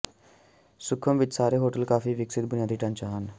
ਸੁਖਮ ਵਿੱਚ ਸਾਰੇ ਹੋਟਲ ਕਾਫੀ ਵਿਕਸਤ ਬੁਨਿਆਦੀ ਢਾਂਚਾ ਹਨ